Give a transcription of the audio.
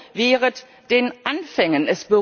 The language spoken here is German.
Also Wehret den Anfängen!